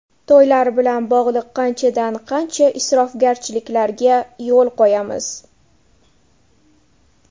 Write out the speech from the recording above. To‘ylar bilan bog‘liq qanchadan-qancha isrofgarchiliklarga yo‘l qo‘yamiz.